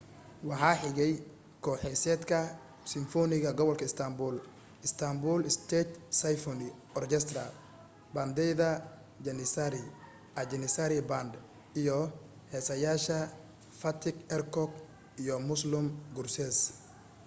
waxaa xigay koox-heesaadka simfoniga gobolka istanbul istanbul state symphony orchestra baandeyda janissari a janissary band iyo heesaayaasha fatih erkoç iyo müslüm gürses